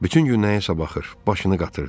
Bütün gün nəyəsə baxır, başını qatırdı.